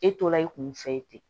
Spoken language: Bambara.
E tora i kun fɛ ye ten